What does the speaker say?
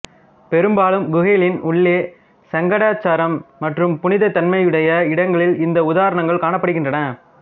பெரும்பாலும் குகைகளின் உள்ளே சடங்காச்சாரம் மற்றும் புனிதத் தன்மையுடைய இடங்களில் இந்த உதாரணங்கள் காணப்படுகின்றன